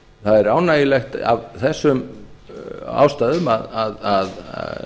það er ánægjulegt af þessum ástæðum að